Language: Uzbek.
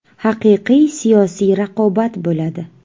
Haqiqiy siyosiy raqobat bo‘ladi.